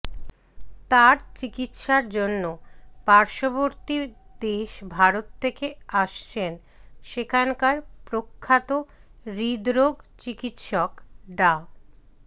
তার চিকিৎসার জন্য পার্শ্ববর্তী দেশ ভারত থেকে আসছেন সেখানকার প্রখ্যাত হৃদরোগ চিকিৎসক ডা